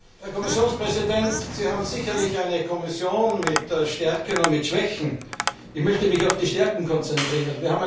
Herr Kommissionspräsident, Sie haben sicher eine Kommission mit Stärken und mit Schwächen. Ich möchte mich auf die Stärken konzentrieren.